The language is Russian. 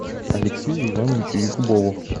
алексею ивановичу якубову